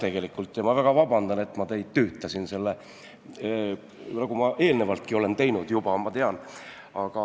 Ma palun väga vabandust, et ma teid tüütasin, nagu ma eelnevaltki olen teinud, ma tean.